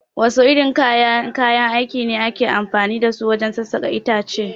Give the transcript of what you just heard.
Wasu irin kayan aiki ne ake amfani dasu wajen sassaƙa itace?